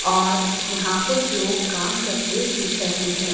और यहां कुछ लोग काम करते दिख रहें हैं।